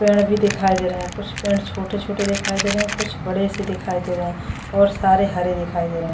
पेड़ भी दिखाई दे रहे हैं कुछ पेड़ छोटे-छोटे दिखाई दे रहे हैं कुछ बड़े से दिखाई दे रहे हैं और सारे हरे दिखाई दे रहे हैं ।